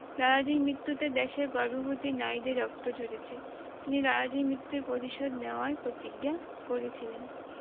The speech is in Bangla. লালা জীর মৃত্যুতে দেশের গর্ভবতী নারীদের রক্ত ঝরেছে তিনি লালাজীর মৃত্যুর প্রতিশোধ নেওয়ার প্রতিজ্ঞা করেছিলেন